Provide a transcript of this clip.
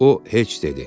O heç dedi.